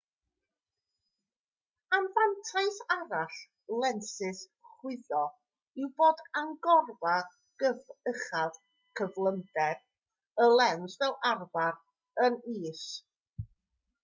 anfantais arall lensys chwyddo yw bod agorfa uchaf cyflymder y lens fel arfer yn is